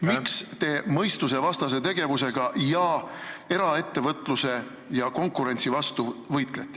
Miks te võitlete mõistusevastase tegevusega eraettevõtluse ja konkurentsi vastu?